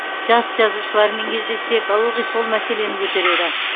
жас жазушылармен кездессек ылғи осы мәселені көтереді